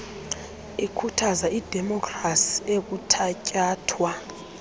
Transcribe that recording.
ikhuthaza idemopkhrasi ekuthatyathwa